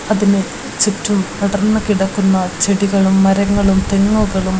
അതിന് ചുറ്റും പടർന്ന് കിടക്കുന്ന ചെടികളും മരങ്ങളും തെങ്ങുകളും--